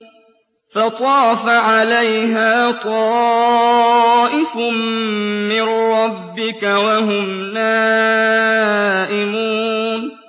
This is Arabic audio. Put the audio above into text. فَطَافَ عَلَيْهَا طَائِفٌ مِّن رَّبِّكَ وَهُمْ نَائِمُونَ